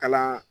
Kalan